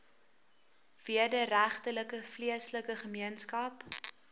wederregtelike vleeslike gemeenskap